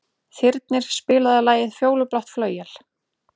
Þyrnir, spilaðu lagið „Fjólublátt flauel“.